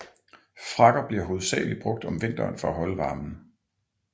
Frakker bliver hovedsageligt brugt om vinteren for at holde varmen